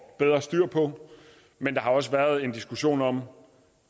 bedre styr på men der har også været en diskussion om